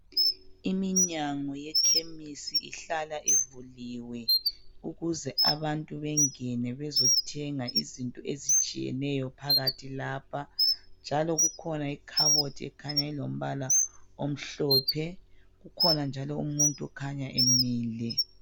Iminyango yekhemisi ihlala ivuliwe ukuze abantu bengene bezothenga izinto ezitshiyeneyo phakathi lapha, njalo kukhona ikhabothi ekhanya ilombala omhlophe kukhona njalo umuntu okhanya emile.